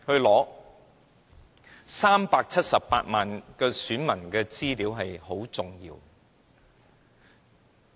這378萬名選民的資料非常重要。